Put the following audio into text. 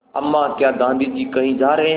अम्मा क्या गाँधी जी कहीं जा रहे हैं